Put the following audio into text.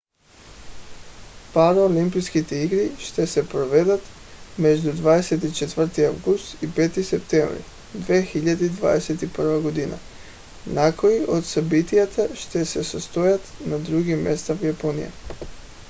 параолимпийските игри ще се проведат между 24 август и 5 септември 2021 г. някои от събитията ще се състоят на други места в япония